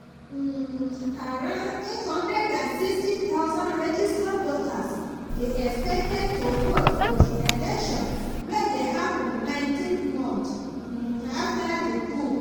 um around 860000 registered voters dey expected to vote for dis election wey dey happun 19 months um afta di coup.